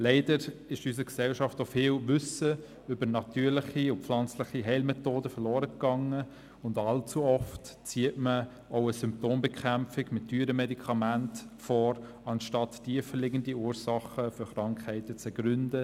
Leider ist in unserer Gesellschaft auch viel Wissen über natürliche und pflanzliche Heilmethoden verloren gegangen, und allzu oft zieht man auch eine Symptombekämpfung mit teuren Medikamenten vor, anstatt tiefer liegende Ursachen für Krankheiten zu ergründen.